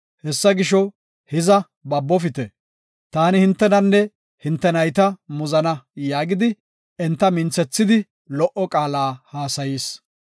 Hessa gisho, hiza babofite. Taani hintenanne hinte nayta muzana” yaagidi, enta minthethidi lo77o qaala hassayis.